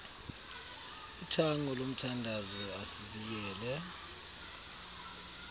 uthango lomthandazo asibiyele